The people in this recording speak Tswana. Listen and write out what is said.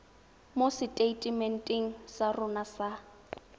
mo seteitementeng sa rona sa